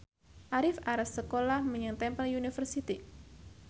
Arif arep sekolah menyang Temple University